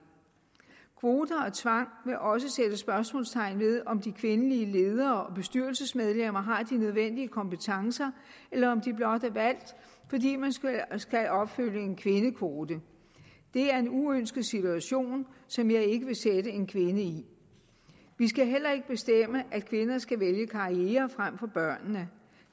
kvoter og tvang vil også sætte spørgsmålstegn ved om de kvindelige ledere og bestyrelsesmedlemmer har de nødvendige kompetencer eller om de blot er valgt fordi man skal opfylde en kvindekvote det er en uønsket situation som jeg ikke vil sætte en kvinde i vi skal heller ikke bestemme at kvinder skal vælge karriere frem for børn